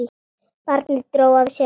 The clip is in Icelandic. Barnið dró að sér andann.